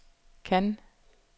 Cannes